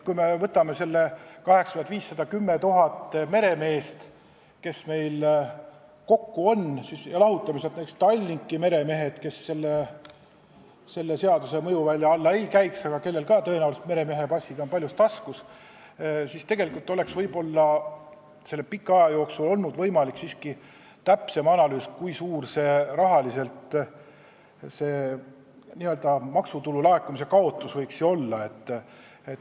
Kui me võtame need 8500 – 10 000 meremeest, kes meil kokku on, ja lahutame sealt Tallinki meremehed, kes selle seaduse mõjuvälja ei jääks, aga kellel ka tõenäoliselt meremehepassid on taskus, siis tegelikult oleks selle pika aja jooksul olnud võimalik siiski teha täpsem analüüs, kui suur see maksutulu laekumise kaotus võiks olla.